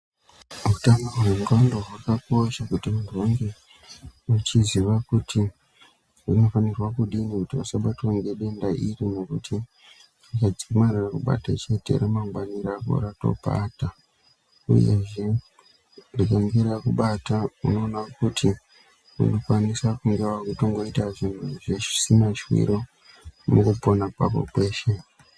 Utano hwendxondo hwakakosha kuti muntu ange achiziva kuti unofanirwa kudini kuti usabatwa ngedenda iri ngekuti ukadzamara wabatwa ngedenda iri, denda rako ratopata uyezve richinge rakubata unenge woita zviro zvisina shwiro mukupona kwako kweshe.